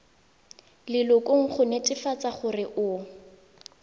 lelokong go netefatsa gore o